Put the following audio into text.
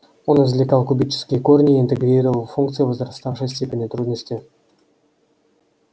он извлекал кубические корни и интегрировал функции возраставшей степени трудности